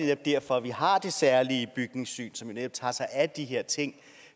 det er derfor vi har det særlige bygningssyn som netop tager sig af de her ting